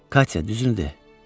Katya düzünü de.